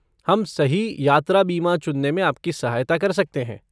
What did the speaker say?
हम सही यात्रा बीमा चुनने में आपकी सहायता कर सकते हैं।